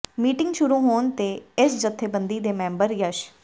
meeting ਸ਼ੁਰੂ ਹੋਣ ਤੇ ਇਸ ਜਥੇਬੰਦੀ ਦੇ ਮੈਂਬਰ ਯਸ਼